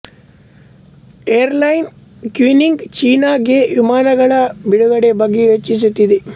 airline Kunming ಚೀನಾ ಗೆ ವಿಮಾನಗಳ ಬಿಡುಗಡೆ ಬಗ್ಗೆ ಯೋಚಿಸುತ್ತಿದೆ